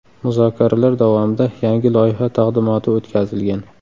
Muzokaralar davomida yangi loyiha taqdimoti o‘tkazilgan.